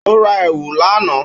Ó ra èwù lá àná.